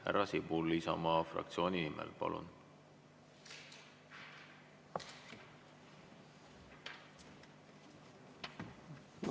Härra Sibul Isamaa fraktsiooni nimel, palun!